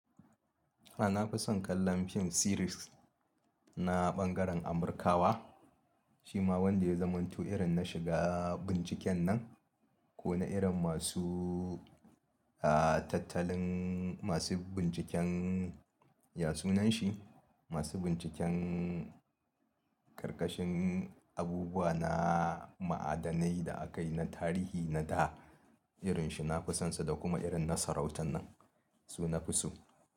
A'a, na fi son kallon fim series na ɓangaren Amurkawa. Shi ma wanda ya zamantu irin na shiga binciken nan ko na irin masu tattalin masu binciken ya sunan shi, masu binciken ƙarƙashin abubuwa na ma'adanai da aka yi na tarihi na da irin shi na fi sonsu da kuma irin na sarautan nan su na fi su.